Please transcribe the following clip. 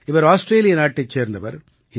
இவர் ஆஸ்ட்ரேலிய நாட்டைச் சேர்ந்தவர்